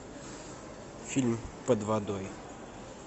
фильм под водой